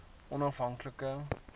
onafhanklike